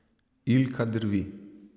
Ilka drvi.